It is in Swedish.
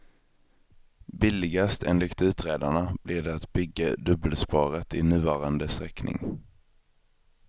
Billigast, enligt utredarna, blir det att bygga dubbelspåret i nuvarande sträckning.